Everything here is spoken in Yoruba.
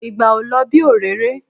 Ìgbà ò lọ bí òréré